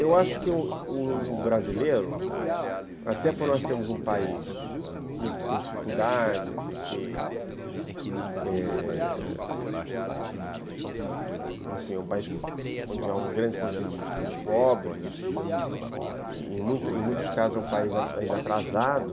Eu acho que o o brasileiro, até porque nós temos um país que tem dificuldades, e que é... enfim, é um país onde há um grande continente de pobres, em muitos muitos casos é um país ainda atrasado,